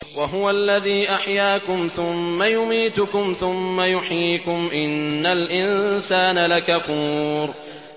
وَهُوَ الَّذِي أَحْيَاكُمْ ثُمَّ يُمِيتُكُمْ ثُمَّ يُحْيِيكُمْ ۗ إِنَّ الْإِنسَانَ لَكَفُورٌ